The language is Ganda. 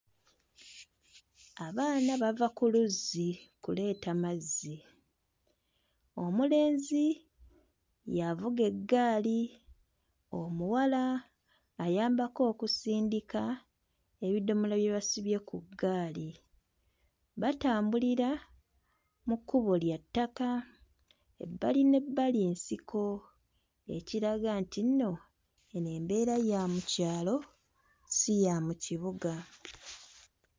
Abaana bava ku luzzi kuleeta mazzi, omulenzi y'avuga eggaali, omuwala ayambako okusindika ebidomola bye basibye ku ggaali batambulira mu kkubo lya ttaka ebbali n'ebbali nsiko ekiraga nti nno eno embeera ya mu kyalo si ya mu kibuga.